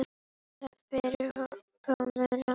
Takk fyrir komuna.